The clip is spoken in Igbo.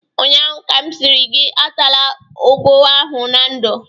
ụnyaahụ ka m sịrị gị atala ụgụ ahụ na ndụ!